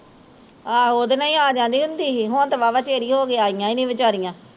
ਆਹੋ ਉਹਦੇ ਨਾਲ਼ ਹੀਂ ਆ ਜਾਂਦੀ ਹੁੰਦੀ ਸੀ ਹੁਣ ਤੇ ਵਾਵਾਂ ਚਿਰ ਹੀਂ ਹੋਗਿਆ ਆਇਆ ਹੀਂ ਨੀ ਵਿਚਾਰੀਆ